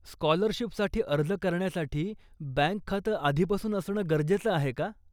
स्कॉलरशिपसाठी अर्ज करण्यासाठी बँक खातं आधीपासून असणं गरजेचं आहे का?